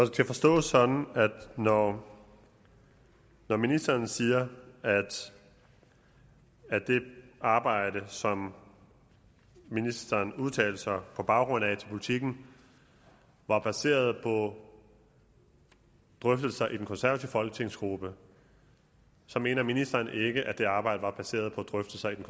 skal forstås sådan at når når ministeren siger at at det arbejde som ministeren udtalte sig på baggrund af til politiken var baseret på drøftelser i den konservative folketingsgruppe så mener ministeren ikke at det arbejde var baseret på drøftelser i den